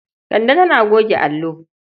Kande tana goge allo.